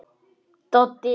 Doddi fer dálítið hjá sér.